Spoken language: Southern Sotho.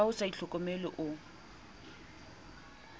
ha o sa itlhokomele o